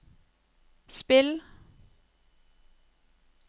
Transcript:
spill